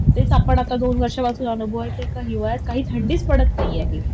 तेच आता आपण दोन वर्षांपासून अनुभवतोय का हिवाळ्यात काही थंडीचं पडत नाही